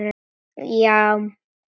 Já